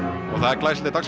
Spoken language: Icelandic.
glæsileg dagskrá